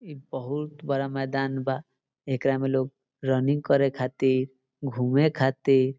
इ बहुत बड़ा मैदान बा एकरा में लोग रनिंग करे खातिर घूमे खातिर --